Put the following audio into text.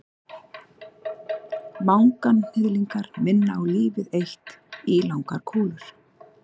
manganhnyðlingar minna á lítið eitt ílangar kúlur